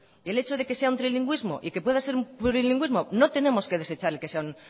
y el hecho de que sea un trilingüismo y que pueda ser un plurilingüísmo no tenemos que desechar el que sea un